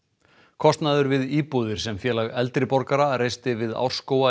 kostnaður við íbúðir sem Félag eldri borgara reisti við